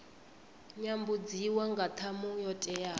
nyambudziwa nga ṱhamu yo teaho